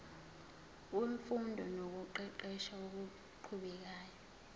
wemfundo nokuqeqesha okuqhubekayo